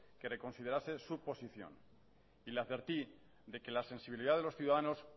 que reconsiderase su posición y le advertí que la sensibilidad de los ciudadanos